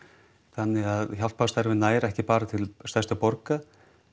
þannig að hjálparstarfið nær ekki bara til helstu borga